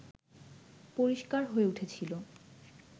পরিষ্কার হয়ে উঠেছিল